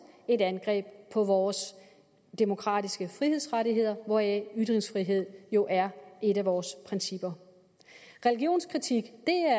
et angreb på vores demokratiske frihedsrettigheder hvoraf ytringsfrihed jo er et af vores principper religionskritik